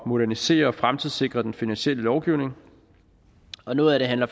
modernisere og fremtidssikre den finansielle lovgivning og noget af det handler